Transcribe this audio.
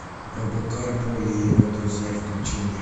робокар поли и его друзья включи мне